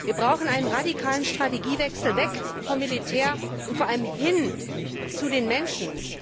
Wir brauchen einen radikalen Strategiewechsel, weg vom Militär und vor allem hin zu den Menschen.